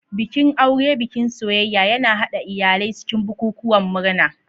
Bikin aure, bikin soyayya, yana haɗa iyalai cikin bukukuwan murna.